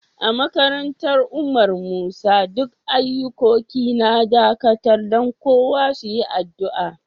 A makarantan Umar Musa, duk ayukoki na dakatar dan kowa su yi addu'a.